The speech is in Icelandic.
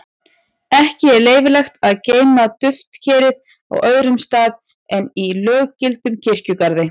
ekki er leyfilegt að geyma duftkerið á öðrum stað en í löggiltum kirkjugarði